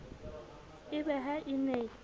e be ha e ne